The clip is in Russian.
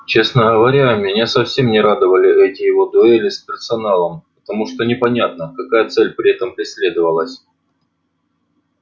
честно говоря меня совсем не радовали эти его дуэли с персоналом потому что непонятно какая цель при этом преследовалась